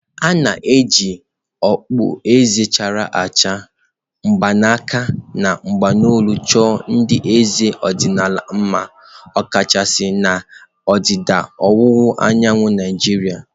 A na-eji okpueze chara acha, mgbaaka na bangulu chọọ ndị eze ọdịnala mma ọkachasị na ndịda ọwụwa anyanwụ Naijiria.